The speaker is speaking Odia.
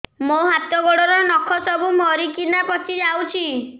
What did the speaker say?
ମୋ ହାତ ଗୋଡର ନଖ ସବୁ ମରିକିନା ପଚି ଯାଉଛି